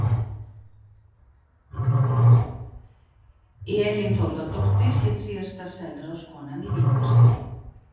Elín Þórðardóttir hét síðasta selráðskonan í Víkurseli.